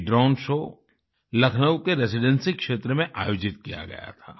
ये drone show Lucknow के Residency क्षेत्र में आयोजित किया गया था